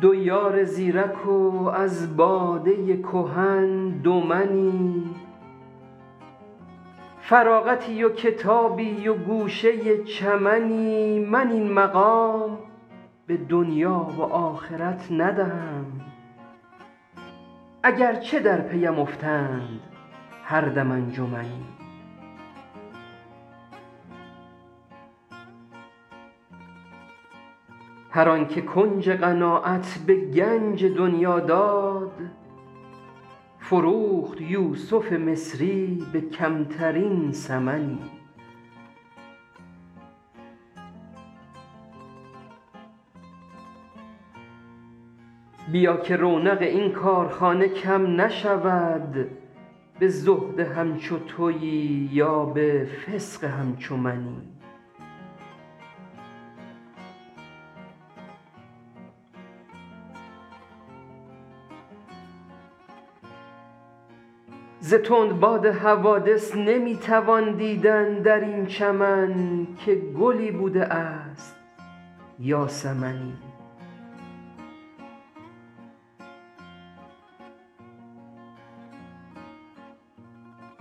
دو یار زیرک و از باده کهن دو منی فراغتی و کتابی و گوشه چمنی من این مقام به دنیا و آخرت ندهم اگر چه در پی ام افتند هر دم انجمنی هر آن که کنج قناعت به گنج دنیا داد فروخت یوسف مصری به کمترین ثمنی بیا که رونق این کارخانه کم نشود به زهد همچو تویی یا به فسق همچو منی ز تندباد حوادث نمی توان دیدن در این چمن که گلی بوده است یا سمنی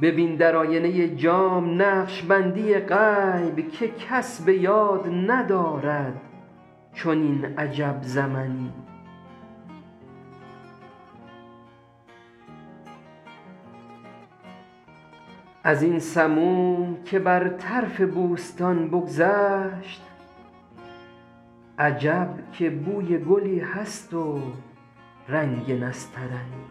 ببین در آینه جام نقش بندی غیب که کس به یاد ندارد چنین عجب زمنی از این سموم که بر طرف بوستان بگذشت عجب که بوی گلی هست و رنگ نسترنی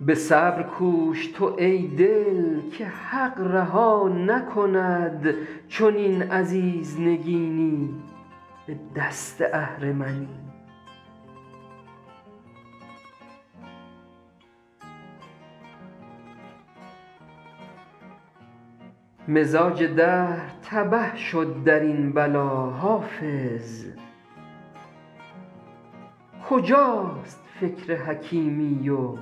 به صبر کوش تو ای دل که حق رها نکند چنین عزیز نگینی به دست اهرمنی مزاج دهر تبه شد در این بلا حافظ کجاست فکر حکیمی و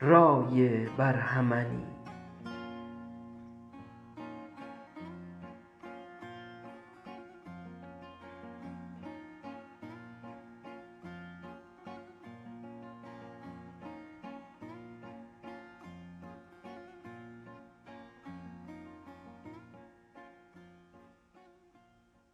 رای برهمنی